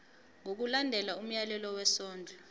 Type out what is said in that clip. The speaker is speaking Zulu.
ngokulandela umyalelo wesondlo